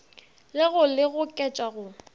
le go le goketša go